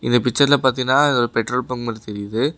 இந்த பிச்சர்ல பாத்தீனா இது ஒரு பெட்ரோல் பங்க் மாரி தெரியுது.